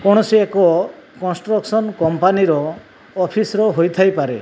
କୌଣସି ଏକ construction company ର ଅଫିସ୍ ର ହୋଇଥାଇ ପାରେ।